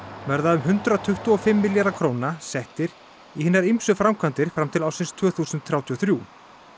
verða um hundrað tuttugu og fimm milljarðar króna settir í hinar ýmsu framkvæmdir fram til ársins tvö þúsund þrjátíu og þrjú